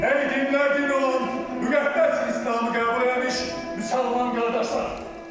Ey dinləyici olan müqəddəs İslamı qəbul etmiş müsəlman qardaşlar!